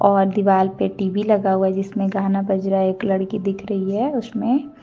और दीवाल पे टी_वी लगा हुआ जिसमें गाना बज रहा है एक लड़की दिख रही है उसमें।